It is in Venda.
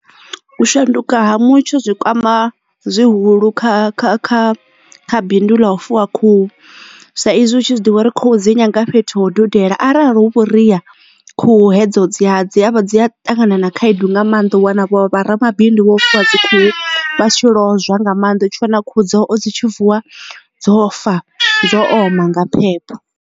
U shanduka ha mutsho zwi kwama zwihulu kha kha kha kha bindu ḽa u fuwa khuhu sa izwi utshi zwiḓivha uri khuhu dzi nyanga fhethu ho dudela arali hu vhuria khuhu hedzo dzi ya dzivha dzi a ṱangana na khaedu nga maanḓa u wana vho vharamabindu vho fuwa khuhu vha si tsho lozwa nga maanḓa u tshi wana khuhu dzao dzi tshi vuwa dzo fa dzo oma nga phepho.